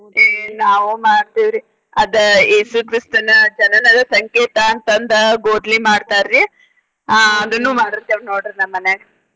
ಏ ನಾವು ಮಾಡ್ತೇವ್ರಿ ಅದ ಯೇಸು ಕ್ರಿಸ್ತನ ಜನನದ ಸಂಕೇತ ಅಂತ ಅಂದ ಗೊದ್ಲಿ ಮಾಡ್ತಾರಿ. ಆಹ್ ಅದನ್ನು ಮಾಡಿರ್ತೆವ ನೋಡ್ರಿ ನಮ್ಮ ಮನ್ಯಾಗ.